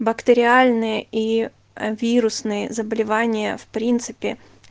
бактериальные и вирусные заболевания в принципе